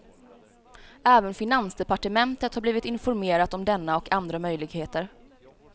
Även finansdepartementet har blivit informerat om denna och andra möjligheter.